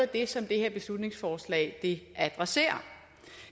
det som det her beslutningsforslag adresserer